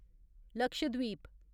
Lakshadweep